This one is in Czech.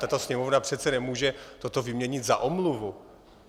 Tato Sněmovna přece nemůže toto vyměnit za omluvu.